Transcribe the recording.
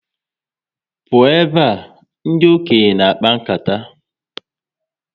Pụọ ebe a! Ndị okenye na akpa nkata